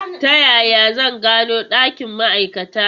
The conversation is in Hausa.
Ta yaya zan gano ɗakin ma'aikata?